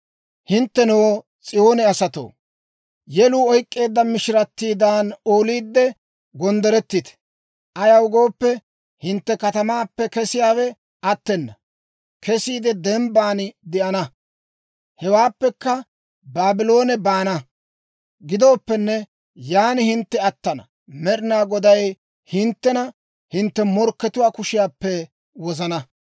Hinttenoo, S'iyoone asatoo, yeluu oyk'k'eedda mishiratiidan ooliidde gonddoretitte. Ayaw gooppe, hintte katamaappe kesiyaawe attena; kesiide dembban de'ana; hewaappekka Baabloone baana. Gidooppenne, yan hintte attana; Med'inaa Goday hinttena hintte morkkatuwaa kushiyaappe wozana.